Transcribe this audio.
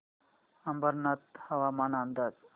अंबरनाथ हवामान अंदाज